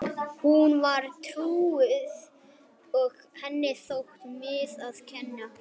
Hún var trúuð og henni þótti miður að kirkjan hafði orðið fyrir ýmsum kárínum.